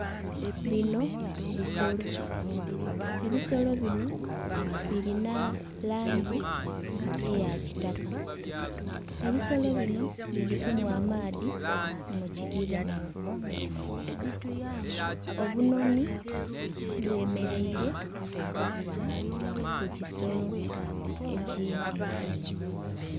Bino bisolo, ebisolo bino birina langi eya kitaka ebisolo bino biri kunhwa amaadhi mu kidhiba. Obunhonhi bwemerereire ku kisolo ekindhi.